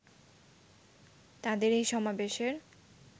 তাদের এই সমাবেশের